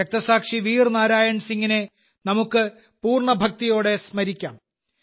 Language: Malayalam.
രക്തസാക്ഷി വീർ നാരായൺ സിങ്ങിനെ നമുക്ക് പൂർണ ഭക്തിയോടെ സ്മരിക്കാം